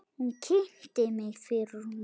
Hún kynnti mig fyrir honum.